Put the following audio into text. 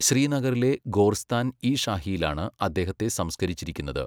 ശ്രീനഗറിലെ ഗോർസ്താൻ ഇ ഷാഹിയിലാണ് അദ്ദേഹത്തെ സംസ്കരിച്ചിരിക്കുന്നത്.